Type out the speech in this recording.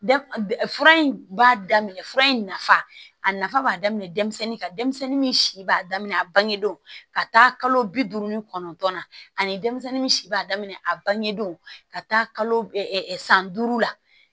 Fura in b'a daminɛ fura in nafa a nafa b'a daminɛ denmisɛnnin kan denmisɛnnin min si b'a daminɛ a bangedon ka taa kalo bi duuru ni kɔnɔntɔn na ani denmisɛnnin min b'a daminɛ a bangedon ka taa kalo san duuru la